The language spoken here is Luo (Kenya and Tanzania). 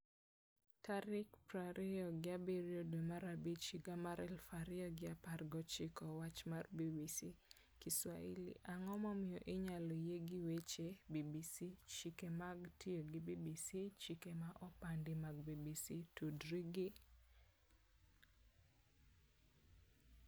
tarik piero ariyo gi abiriyo dwe mar abich higa mar aluf ariyo gi apar gochiko Wach mar BBC, kiswahili Ang'o momiyo inyalo yie gi weche BBC Chike mag tiyo gi BBC Chike ma opandi mag BBC tudri gi